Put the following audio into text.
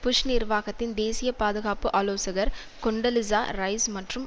push நிர்வாகத்தின் தேசிய பாதுகாப்பு ஆலோசகர் கொன்டொலிசா ரைஸ் மற்றும்